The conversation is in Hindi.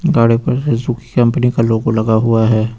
गाड़ी पर सुजुकी कंपनी का लोगो लगा हुआ है।